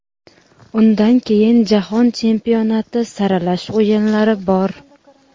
undan keyin Jahon chempionati saralash o‘yinlari bor.